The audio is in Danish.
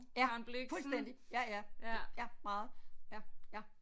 Ja fuldstændig ja ja ja meget ja ja